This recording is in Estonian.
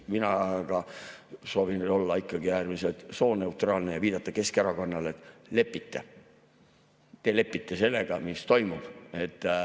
Mina aga soovin olla äärmiselt sooneutraalne ja viidata Keskerakonnale, et te lepite sellega, mis toimub.